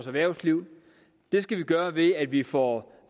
erhvervslivet det skal vi gøre ved at vi får